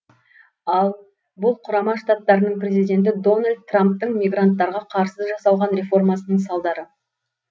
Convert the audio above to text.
ал бұл құрама штаттарының президенті дональд трамптың мигранттарға қарсы жасалған реформасының салдары